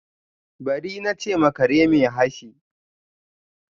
Bari! na che ma kare mai hashi.